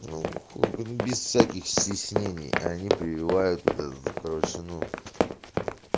ну хуй без всяких стеснений они прививают это короче ну